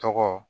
Tɔgɔ